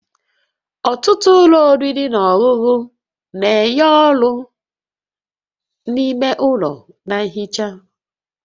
Ọtụtụ ụlọ oriri na ọṅụṅụ na-enye ọrụ-ime ụlọ na nhicha